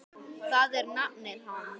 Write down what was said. Það er nafnið hans.